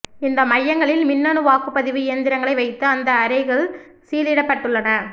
இந்த மையங்களில் மின்னணு வாக்குப் பதிவு இயந்திரங்களை வைத்து அந்த அறைகள் சீலிடப்பட்டுள்லன